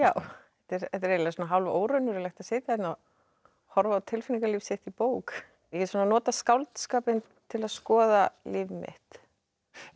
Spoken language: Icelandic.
þetta er eiginlega hálf óraunverulegt að sitja hérna og horfa á tilfinningalíf sitt í bók ég svona nota skáldskapinn til að skoða líf mitt en